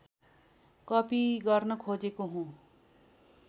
copy गर्न खोजेको हुँ